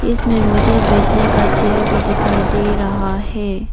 इसमें मुझे बैठने का चेयर भी दिखाई दे रहा है।